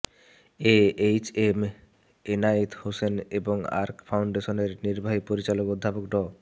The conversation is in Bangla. এএইচএম এনায়েত হুসেন এবং আর্ক ফাউন্ডেশনের নির্বাহী পরিচালক অধ্যাপক ড